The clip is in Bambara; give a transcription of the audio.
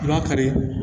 I b'a kari